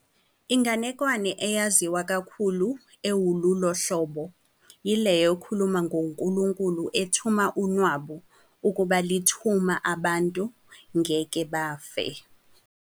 Inganekwane eyaziwa kakhulu ewulolu hlobo yileyo ekhuluma ngoNkulunkulu ethuma unwabu ukuba lithuma abantu ngeke bafe.